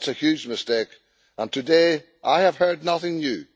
It is a huge mistake, and today I have heard nothing new.